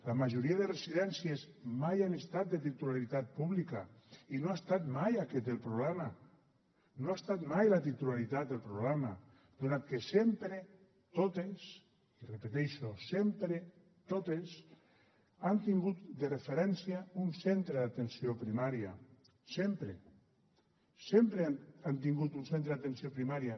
la majoria de residències mai han estat de titularitat pública i no ha estat mai aquest el problema no ha estat mai la titularitat el problema donat que sempre totes ho repeteixo sempre totes han tingut de referència un centre d’atenció primària sempre sempre han tingut un centre d’atenció primària